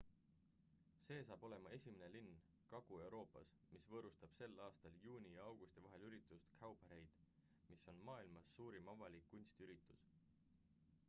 see saab olema esimene linn kagu-euroopas mis võõrustab sel aastal juuni ja augusti vahel üritust cowparade mis on maailmas suurim avalik kunstiüritus